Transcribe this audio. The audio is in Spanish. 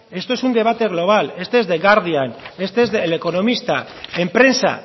esto es un debate global este es the guardian este es el economista en prensa